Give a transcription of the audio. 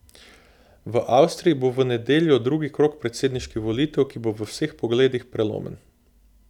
V Avstriji bo v nedeljo drugi krog predsedniških volitev, ki bo v vseh pogledih prelomen.